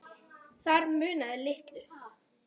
Þar munaði litlu.